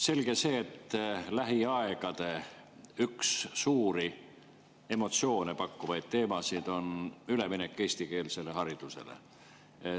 Selge see, et lähiaegade üks suuri emotsioone pakkuv teema on üleminek eestikeelsele haridusele.